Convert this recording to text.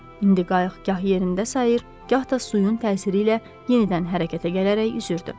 İndi qayıq gah yerində sayır, gah da suyun təsiri ilə yenidən hərəkətə gələrək üzürdü.